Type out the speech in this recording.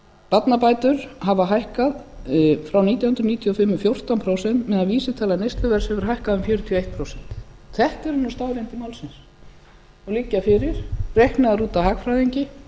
barnabætur hafa hækkað frá nítján hundruð níutíu og fimm um fjórtán prósent meðan vísitala neysluverðs hefur hækkað um fjörutíu og eitt prósent þetta eru nú staðreyndir málsins og liggja fyrir reiknaðar út af hagfræðingi